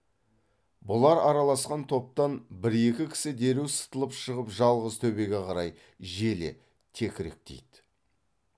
бұлар араласқан топтан бір екі кісі дереу сытылып шығып жалғыз төбеге қарай желе текіректейді